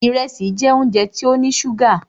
Ìrẹsì jẹ́ óúnjẹ tó ní ṣúgà.